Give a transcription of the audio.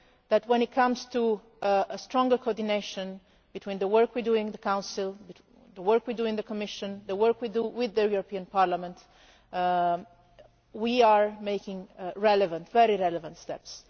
you that, when it comes to a stronger coordination between the work we do in the Council, the work we do in the Commission, the work we do with the European Parliament, we are making very relevant steps.